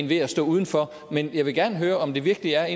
ved at stå udenfor men jeg vil gerne høre om det virkelig er